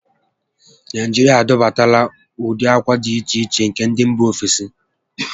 Naijiria adọbatala ụdị ákwà di iche iche nke ndị mbà ofesi